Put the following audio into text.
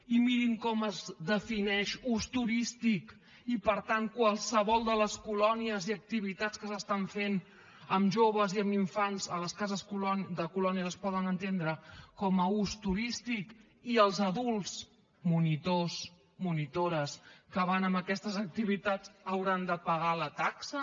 i mirin com es defineix ús turístic i per tant qualsevol de les colònies i activitats que es fan amb joves i amb infants a les cases de colònies es poden entendre com a ús turístic i els adults monitors monitores que van a aquestes activitats hauran de pagar la taxa